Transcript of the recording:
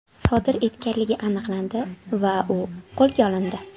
sodir etganligi aniqlandi va u qo‘lga olindi.